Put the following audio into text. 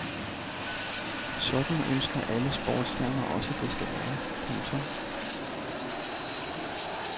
Sådan ønsker alle sportsstjerner også det skal være. punktum